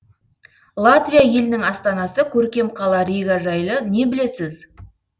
латвия елінің астанасы көркем қала рига жайлы не білесіз